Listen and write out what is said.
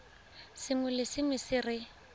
sengwe le sengwe se re